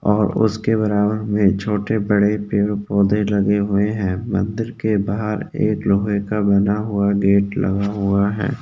और उसके बराबर में छोटे-बड़े पेड़-पौधे लगे हुए हैं मंदिर के बहार एक लोहे का गेट लगा हुआ है।